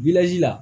la